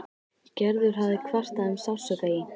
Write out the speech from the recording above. Gerður hafði kvartað um sársauka í.